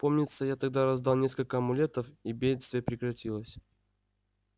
помнится я тогда раздал несколько амулетов и бедствие прекратилось